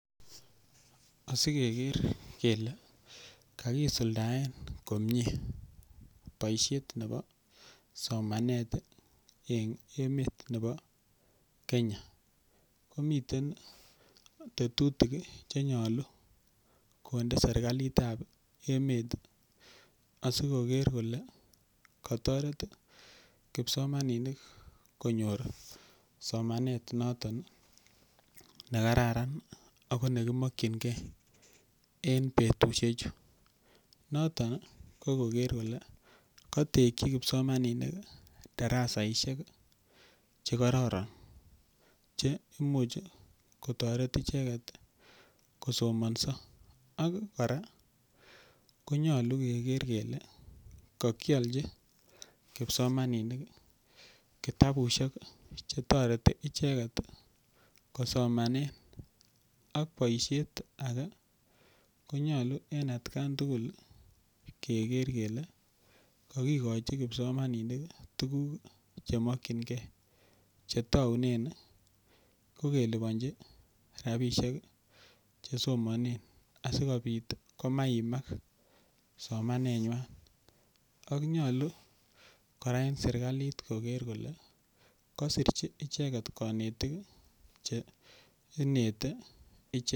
Asi keker kole kakisuldsen komye poishet ap somanet eng' emet ap Kenya ko miten che nyalu konde serikalit ap emet asikoker kole kataret kipsomaninik ko nyor somanet notok ne kararan ako ne kimakchingei eng' petushechu. Noton ko koker kole katekchi kipsomaninik darasaishek che kararan che imuchi kotaret icheget kosomansa ak kora konyalu keker kele kakialchi kipsomaninik kitapushek che tareti icheget kosomanen. Ak poishet age konyalu atkan tugul ke ker kokikachi kipsomaninik tuguk che makchingei che taunen ko kelipanchi rapishek che somane asikopit ko ma iimak somanenywa. Ko nyalu kora eng' serkalit koker kole kasirchi icheget kanetiik che ineti ichek.